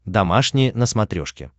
домашний на смотрешке